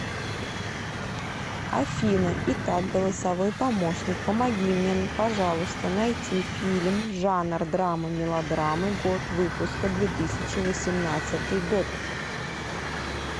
афина итак голосовой помощник помоги мне пожалуйста найти фильм жанр драмы мелодрамы год выпуска две тысячи восемнадцатый год